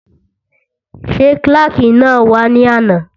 Ṣé kílàkì náà wá ní àná?